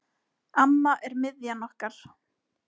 Amma er miðjan okkar.